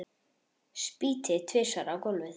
Spýti tvisvar á gólfið.